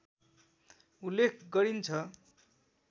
उल्लेख गरिन्छ